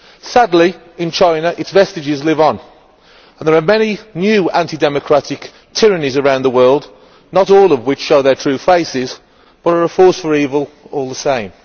Sadly, in China, its vestiges live on, and there are many new anti democratic tyrannies around the world, not all of which show their true faces, but are a force for evil all the same.